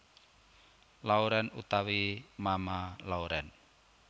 Lauren utawi Mama Lauren